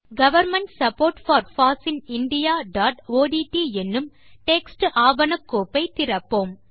government support for foss in indiaஒட்ட் என்னும் text ஆவண கோப்பை திறப்போம்